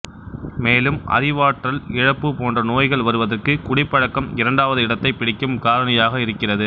மேலும் அறிவாற்றல் இழப்பு போன்ற நோய்கள் வருவதற்கு குடிப்பழக்கம் இரண்டாவது இடத்தைப் பிடிக்கும் காரணியாக இருக்கிறது